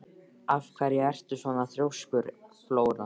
Af hverju ertu svona þrjóskur, Flóra?